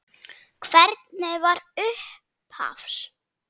Hvernig var upphafs?